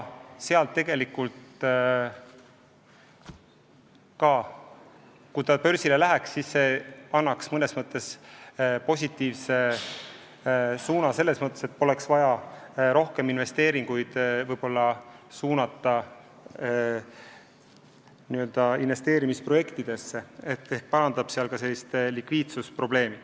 Kui see börsile läheks, siis see annaks arengule positiivse suuna, sest siis poleks ehk vaja rohkem raha suunata investeerimisprojektidesse ja likviidsus paraneks.